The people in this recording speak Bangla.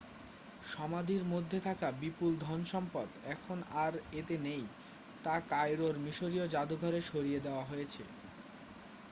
সমাধির মধ্যে থাকা বিপুল ধনসম্পদ এখন আর এতে নেই তা কায়রোর মিশরীয় যাদুঘরে সরিয়ে দেওয়া হয়েছে